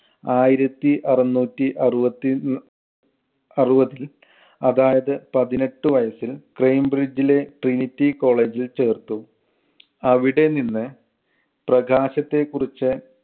ആയിരത്തി അറുനൂറ്റി അറുപത്തി അറുപത്. അതായത് പതിനെട്ട് വയസ്സില് ക്രേം ബ്രിഡ്ജിലെ trinity college ൽ ചേർത്തു. അവിടെനിന്ന് പ്രകാശത്തെ കുറിച്ച്